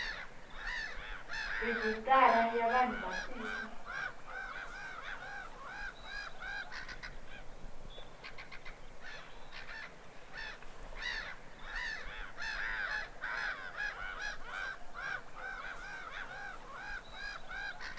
rejistara ya vanhu va tiko